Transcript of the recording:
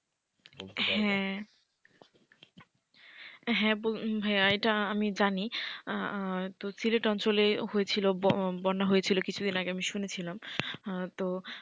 হ্যাঁ, হ্যাঁ ভাইয়া এটা আমি জানি তো সিলেট অঞ্চলে হয়েছিল বন্যা হয়েছিল কিছুদিন আগে আমি শুনেছিলাম, তো,